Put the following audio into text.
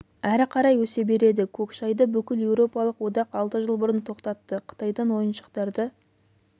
әрі қарай өсе береді көк шайды бүкіл еуропалық одақ алты жыл бұрын тоқтатты қытайдан ойыншықтарды